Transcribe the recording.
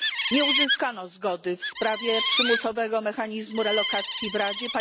Nie uzyskano zgody w sprawie przymusowego mechanizmu relokacji w Radzie.